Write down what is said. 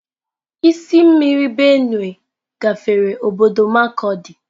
Osimiri Benue gafere obodo markurdi.